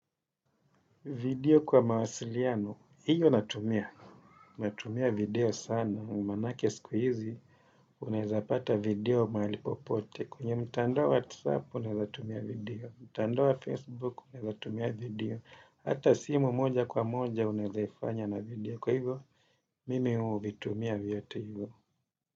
Video kwa mawasiliano, hiyo natumia, natumia video sana, umanake siku hizi, unaezapata video mahalipopote, kwenye mtandao wa WhatsApp unazatumia video, mtandao wa Facebook unaezatumia video, hata simu moja kwa moja unaezajfanya na video kwa hivyo mimi uvitumia vyote hivyo.